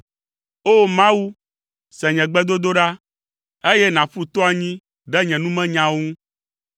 O! Mawu, se nye gbedodoɖa, eye nàƒu to anyi ɖe nye numenyawo ŋu.